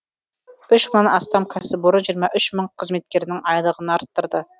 үш мыңнан астам кәсіпорын жиырма үш мың қызметкерінің айлығын арттырды